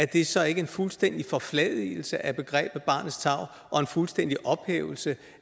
det så ikke en fuldstændig forfladigelse af begrebet barnets tarv og en fuldstændig ophævelse